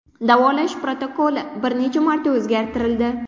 Davolash protokoli bir necha marta o‘zgartirildi.